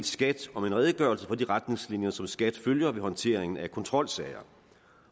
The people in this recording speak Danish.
skat om en redegørelse for de retningslinjer som skat følger ved håndteringen af kontrolsager